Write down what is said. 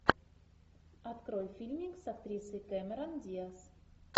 открой фильмик с актрисой кэмерон диаз